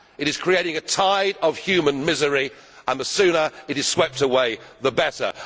It is creating a tide of human misery, and the sooner it is swept away the better.